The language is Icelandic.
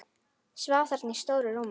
Svaf þarna í stóru rúminu.